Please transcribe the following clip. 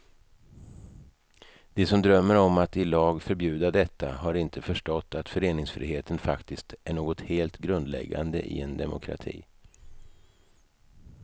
De som drömmer om att i lag förbjuda detta har inte förstått att föreningsfriheten faktiskt är något helt grundläggande i en demokrati.